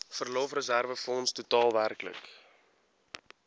verlofreserwefonds totaal werklik